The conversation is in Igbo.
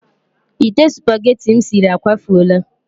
Ite supageti m siri akwafuola.